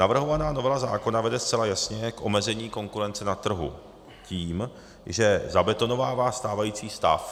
Navrhovaná novela zákona vede zcela jasně k omezení konkurence na trhu tím, že zabetonovává stávající stav.